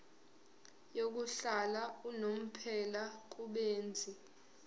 yokuhlala unomphela kubenzi